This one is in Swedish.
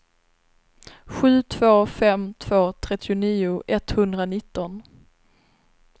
sju två fem två trettionio etthundranitton